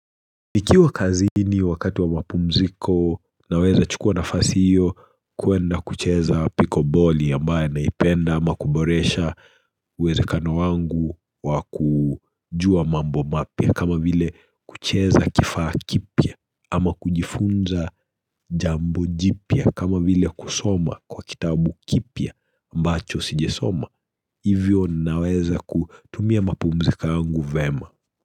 Nikiwa kazini wakati wa mapumziko naweza chukua nafasi hiyo kuenda kucheza piko boli ambaye naipenda ama kuboresha uwezekano wangu wa kujua mambo mapya kama vile kucheza kifaa kipya ama kujifunza jambo jipia kama vile kusoma kwa kitabu kipya ambacho sijasoma. Hivyo naweza kutumia mapumzika yangu vema.